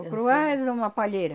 O curuá é uma palheira.